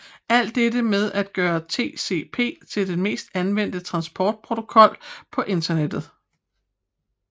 Alt dette er med til at gøre TCP til den mest anvendte transportprotokol på Internettet